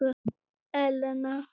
Elena